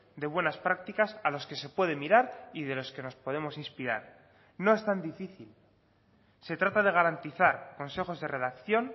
de buenas prácticas a los que se puede mirar y de los que nos podemos inspirar no es tan difícil se trata de garantizar consejos de redacción